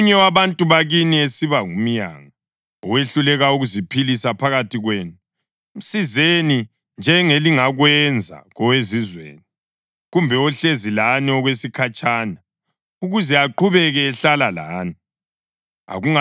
Nxa omunye wabantu bakini esiba ngumyanga owehluleka ukuziphilisa phakathi kwenu, msizeni njengelingakwenza kowezizweni kumbe ohlezi lani okwesikhatshana, ukuze aqhubeke ehlala lani.